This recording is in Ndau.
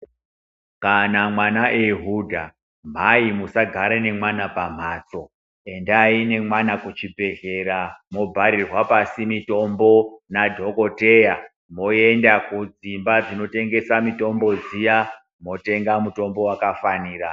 Kana mwana eihudha, mai musagare nemwana pamhatso, endai ngemwana kuchibhedhlera mwobharirwa pasi mitombo nadhokoteya, mwoenda kudzimba dzinotengesa mitombo dziya ,mwotenga mutombo wakafanira .